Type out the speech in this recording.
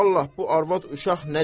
Vallahi bu arvad uşaq nə deyir.